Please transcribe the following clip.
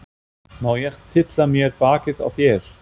Má ég tylla mér bakið á þér?